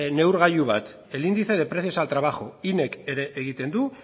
neurgailu bat el índice de precios al trabajo inek ere egiten du